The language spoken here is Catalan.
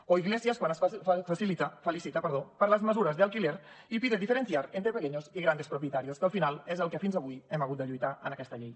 o iglesias quan es felicita per les mesures de alquiler y pide diferenciar entre pequeños y grandes propietarios que al final és el que fins avui hem hagut de lluitar en aquesta llei